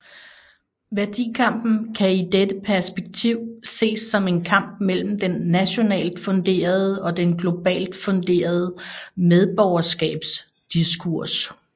Værdikampen kan i dette perspektiv ses som en kamp mellem den nationalt funderede og den globalt funderede medborgerskabsdiskurs